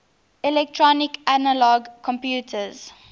electronic analog computers